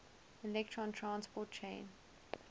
electron transport chain